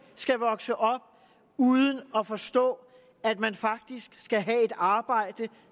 skal vokse op uden at forstå at man faktisk skal have et arbejde